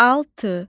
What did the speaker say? Altı.